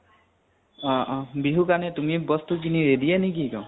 অ অ । বিহুৰ কাৰিণে তুমি ব্স্তু কিনি ready য়ে নেকি এক্দম?